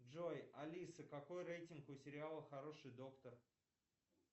джой алиса какой рейтинг у сериала хороший доктор